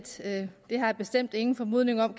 sige at det har jeg bestemt ingen formodning om